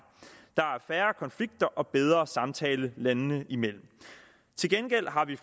der er færre konflikter og bedre samtale landene imellem til gengæld har vi